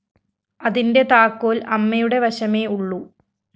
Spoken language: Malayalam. അതിന്റെ താക്കോല്‍ അമ്മയുടെ വശമേ ഉള്ളൂ